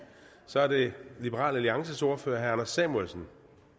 så er det liberal alliances ordfører herre anders samuelsen